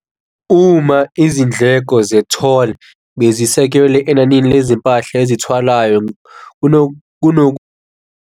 Uma izindleko ze-toll bezisekelwe enanini lezimpahla ezithwalayo .